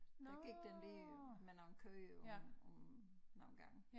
Der gik den lige med nogle køer på på nogle gange